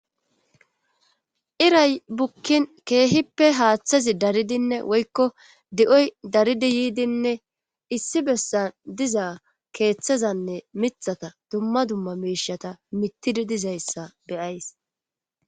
Iray bukkin keehippe haaththazi daridinne woykko di7oy daridi yiidinne issi bessan dizaa keeththazanne mithata dumma dumma miishata mitidi dizayssa be7ays.